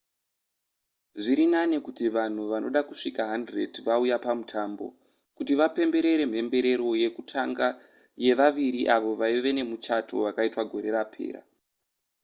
zviri nani kuti vanhu vanoda kusvika 100 vauya pamutambo kuti vapemberere mhemberero yekutanga yevaviri avo vaive nemuchato vakaitwa gore rakapera